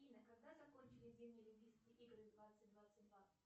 афина когда закончились зимние олимпийские игры двадцать двадцать два